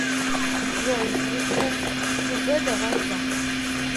джой ютуб любэ давай за